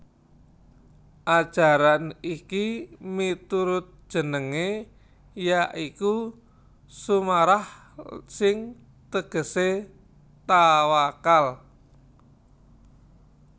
Ajaran iki miturut jenengé ya iku Sumarah sing tegesé tawakal